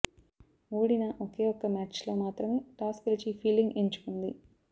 ఓడిన ఒకే ఒక్క మ్యాచ్లో మాత్రమే టాస్ గెలిచి ఫీల్డింగ్ ఎంచుకుంది